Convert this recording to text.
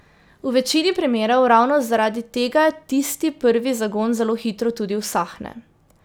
V večini primerov ravno zaradi tega tisti prvi zagon zelo hitro tudi usahne.